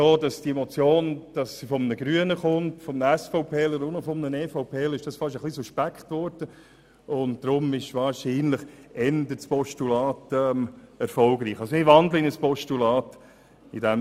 Wir haben bemerkt, dass unser Vorstoss eher als Postulat akzeptiert wird und wandeln ihn deshalb in ein solches um.